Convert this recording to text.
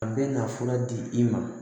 A bɛ na fura di i ma